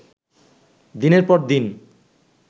দিনের পর দিন